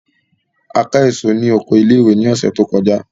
A ká èso ní oko ilé-ìwé lọ́sẹ̀ tó kọjá.